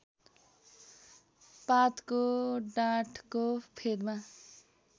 पातको डाँठको फेदमा